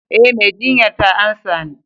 Eh, mai jinyar ta amsa ni.